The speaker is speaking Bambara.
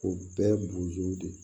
O bɛɛ ye bozow de ye